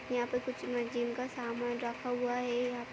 यहाँ पे कुछ म जिम का सामान रखा हुआ है।